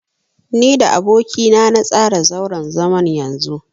Ni da aboki na na tsara zauren zaman yanzu.